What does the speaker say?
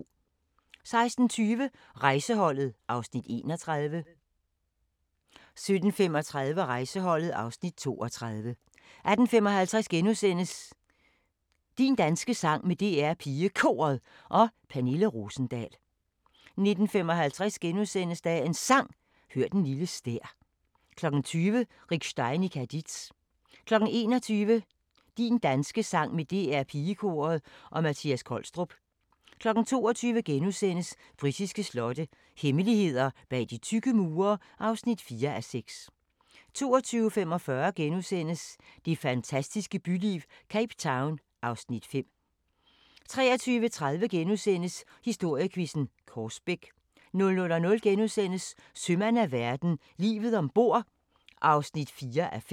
16:20: Rejseholdet (Afs. 31) 17:35: Rejseholdet (Afs. 32) 18:55: Din danske sang med DR PigeKoret og Pernille Rosendahl * 19:55: Dagens Sang: Hør den lille stær * 20:00: Rick Stein i Cadiz 21:00: Din danske sang med DR Pigekoret og Mattias Kolstrup 22:00: Britiske slotte – hemmeligheder bag de tykke mure (4:6)* 22:45: Det fantastiske byliv – Cape Town (Afs. 5)* 23:30: Historiequizzen: Korsbæk * 00:00: Sømand af verden – livet ombord (4:5)*